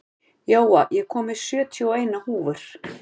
Jóa, ég kom með sjötíu og eina húfur!